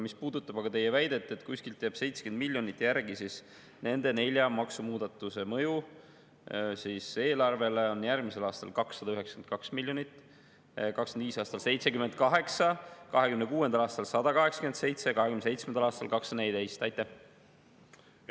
Mis puudutab aga teie väidet, et kuskilt jääb 70 miljonit järgi, siis nende nelja maksumuudatuse mõju eelarvele on järgmisel aastal 292 miljonit, 2025. aastal 78 miljonit, 2026. aastal 187 miljonit ja 2027. aastal 214 miljonit.